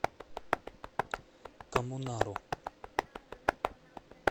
коммунару